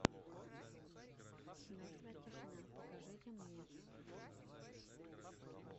мертвая тишина покажите мне